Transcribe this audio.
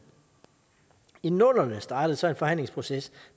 i nullerne startede så en forhandlingsproces